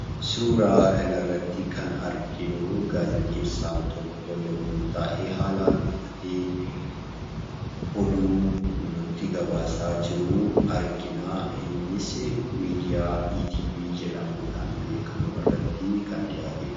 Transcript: Suuraa kanarratti kan arginuu gaazexeessaan tokko yommuu taa'ee haalan uffatee oduu nutti gabaasaa jiru arginaa, innisi miidiyaa ETV jedhamuudhaan beekkamu irratti kan dhiyaatedha.